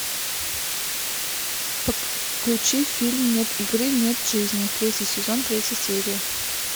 включи фильм нет игры нет жизни третий сезон третью серию